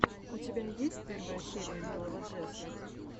у тебя есть первая серия милого джесса